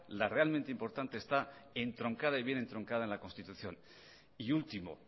la realmente importante está entroncada y bien entroncada en la constitución y último